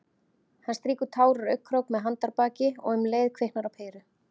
Hann strýkur tár úr augnakrók með handarbaki- og um leið kviknar á peru.